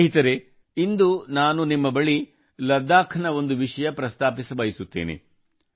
ಸ್ನೇಹಿತರೆ ಇಂದು ನಾನು ನಿಮ್ಮ ಬಳಿ ಲಡಾಖ್ ನ ಒಂದು ವಿಷಯ ಪ್ರಸ್ತಾಪಿಸಬಯಸುತ್ತೇನೆ